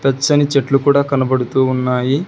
పచ్చని చెట్లు కూడా కనబడుతూ ఉన్నాయి.